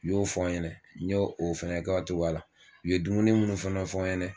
U y'o fɔ ɲɛnɛ, n y'o o fɛnɛ kɛ o cogoya la. U ye dumuni minnu fɛnɛ fɔ ɲɛnɛ